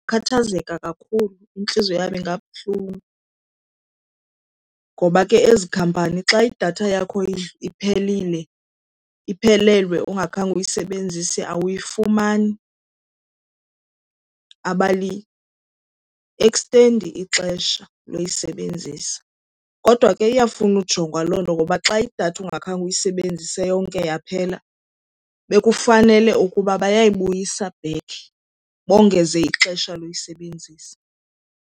Ndingakhathazeka kakhulu, intliziyo yam ingabuhlungu ngoba ke ezi khampani xa idatha yakho iphelile, iphelelwe ungakhange uyisebenzise awuyifumani, abaliekstendi ixesha loyisebenzisa. Kodwa ke iyafuna kujongwa loo nto ngoba xa idatha ungakhange uyisebenzise yonke yaphela bekufanele ukuba bayayibuyisa back bongeze ixesha loyisebenzisa.